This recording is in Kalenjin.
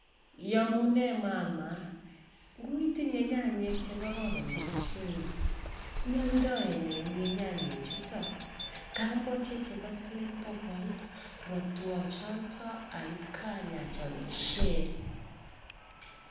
Iamune mama ngu itinye nyanyek chekororon ochei, ioldoi nee, ameche chebo siling bokol